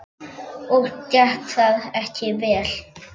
Og gekk það ekki vel.